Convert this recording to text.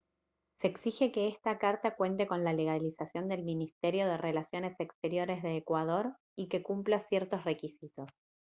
se exige que esta carta cuente con la legalización del ministerio de relaciones exteriores de ecuador y que cumpla ciertos requisitos